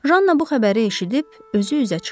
Janna bu xəbəri eşidib özü üzə çıxdı.